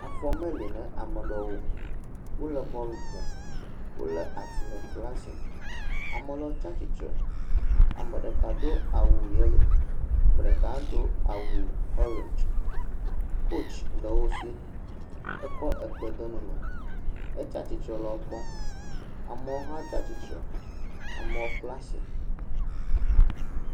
Afɔ mele ne amea ɖewo, wole bɔl ƒom, wolé atizɔti le asi, ame lewo tsatsitre, ame ɖeka do awu yelo, ame ɖeka hã do awu ɔrɛndzi, kotsi le wo si, ekɔ ekpe de nu me, etsatsitre le wo kpɔm. amewo hã tsatsitre, amewo kpla asi.